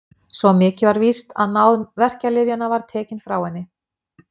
Svo mikið var víst að náð verkjalyfjanna var tekin frá henni.